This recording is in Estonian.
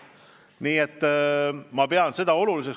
Nii et ma pean seda oluliseks.